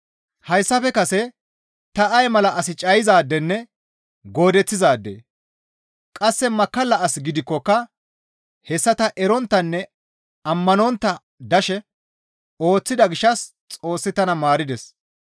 Hayssafe kase ta ay mala as cayizaadenne goodeththizaade, qasse makkalla as gidikkoka hessa ta eronttanne ammanontta dashe ooththida gishshas Xoossi tana maarides.